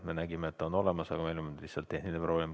Me nägime, et ta on olemas, aga meil on lihtsalt tehniline probleem.